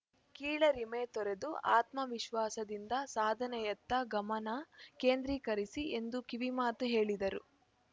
ಕೀಳರಿಮೆ ತೊರೆದು ಆತ್ಮವಿಶ್ವಾಸದಿಂದ ಸಾಧನೆಯತ್ತ ಗಮನ ಕೇಂದ್ರೀಕರಿಸಿ ಎಂದು ಕಿವಿಮಾತು ಹೇಳಿದರು